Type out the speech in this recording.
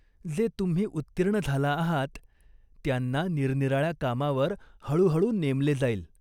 जे तुम्ही उत्तीर्ण झाला आहात, त्यांना निरनिराळ्या कामावर हळूहळू नेमले जाईल.